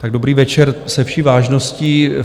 Tak dobrý večer, se vší vážností.